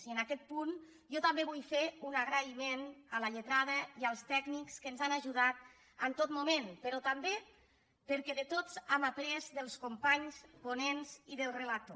i en aquest punt jo també vull fer un agraïment a la lletrada i als tècnics que ens han ajudat en tot moment però també perquè de tots n’hem après dels companys ponents i del relator